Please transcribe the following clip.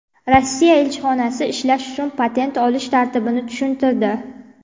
Rossiya elchixonasi ishlash uchun patent olish tartibini tushuntirdi.